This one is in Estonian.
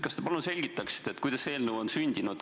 Kas te palun selgitaksite, kuidas see eelnõu on sündinud?